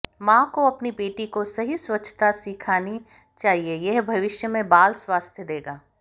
मां को अपनी बेटी को सही स्वच्छता सीखनी चाहिए यह भविष्य में बाल स्वास्थ्य देगा